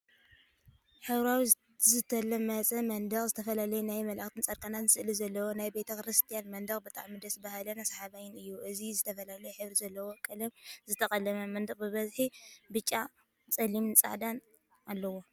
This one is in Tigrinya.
ሕብራዊ ዝተለመፀ መንደቅ ዝተፈላለዩ ናይ መላእክትን ፃድቃናትን ስእሊ ዘለዎ ናይ ቤተ ክርስትያን መንድቅ ብጣዕሚ ደስ በሃሊን ሰሓባይን እዩ፡፡ እዚ ዝተፈላለየ ሕብሪ ዘለዎ ቀለም ዝተቀለመ መንደቅ ብበዝሒ ብጫ፣ ፀሊምን ፃዕዳን አለዎ፡፡